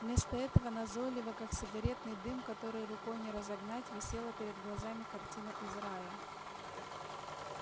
вместо этого назойливо как сигаретный дым который рукой не разогнать висела перед глазами картина из рая